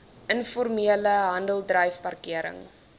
informele handeldryf parkering